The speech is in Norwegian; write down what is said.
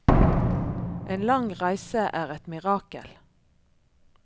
En lang reise er et mirakel.